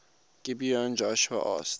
gibeon joshua asked